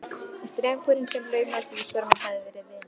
En strákurinn sem laumaðist út í storminn hafði verið vina